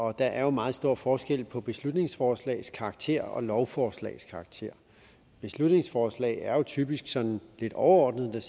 og der er jo meget stor forskel på beslutningsforslags karakter og lovforslags karakter beslutningsforslag er jo typisk sådan lidt overordnet hvor der